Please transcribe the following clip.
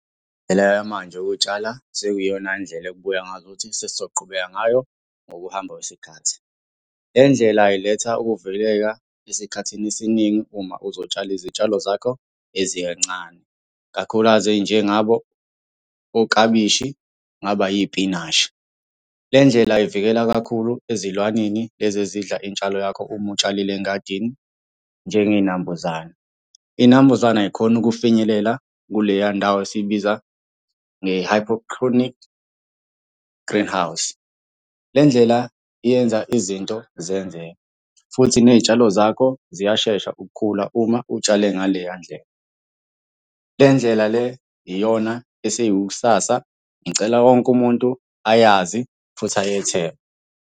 Indlela yamanje yokutshala, sekuyiyona ndlela ekubukeka ngazukuthi sesizoqhubeka ngayo ngokuhamba kwesikhathi. Le ndlela iletha ukuvikeleka esikhathini esiningi uma uzotshala izitshalo zakho eziyincane. Kakhulukazi ey'njengabo oklabishi, kungaba yipinashi. Le ndlela ivikela kakhulu ezilwaneni lezi ezidla intshalo yakho uma utshalile engadini, njengey'nambuzane. Iy'nambuzane ay'khoni ukufinyelela kuleya ndawo esiyibiza nge-hydroponic greenhouse. Le ndlela iyenza izinto zenzeke, futhi ney'tshalo zakho ziyashesha ukukhula uma utshale ngaleya ndlela. Le ndlela le iyona esiyikusasa, ngicela wonke umuntu ayazi futhi ayethembe.